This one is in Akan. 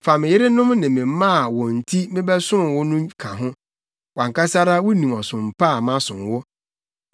Fa me yerenom ne me mma a wɔn nti mebɛsom wo no ka ho. Wʼankasa ara wunim ɔsom pa a masom wo.”